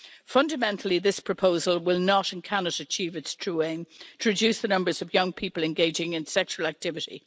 Fundamentally, this proposal will not, and cannot, achieve its true aim to reduce the numbers of young people engaging in sexual activity.